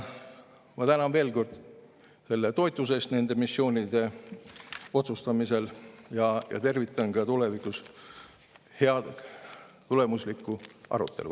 Ma tänan veel kord toetuse eest nende missioonide otsustamisel ja tervitan ka tulevikus head tulemuslikku arutelu.